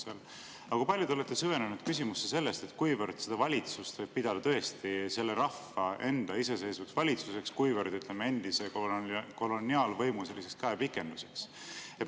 Aga kui palju te olete süvenenud küsimusse, kuivõrd seda valitsust võib pidada tõesti selle rahva enda iseseisvaks valitsuseks ja kuivõrd endise koloniaalvõimu käepikenduseks?